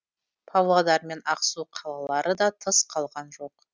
павлодар мен ақсу қалалары да тыс қалған жоқ